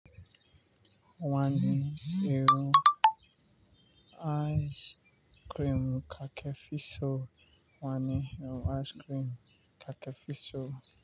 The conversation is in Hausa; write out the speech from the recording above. Wani irin ayis kirim kake fisu?